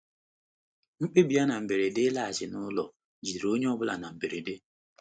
Mkpebi ya na mberede ịlaghachi n'ụlọ jidere onye ọ bụla na mberede